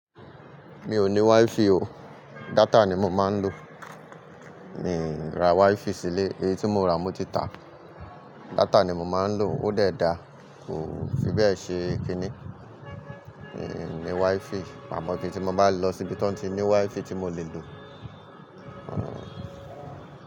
Mi ò ní WiFi o, data ni mo máa ń lò. Miì ra WiFi sílé, èyí tí mo rà mo ti tàá. Data ni mo máa ń lò, ó dẹ̀ dáa, kò fi bẹ́ẹ̀ ṣe kinní. Miì, ní WiFi, àmọ́ kí tí mo bá lọ síbi tí wọ́n tí ní WiFi tí mo lè lò.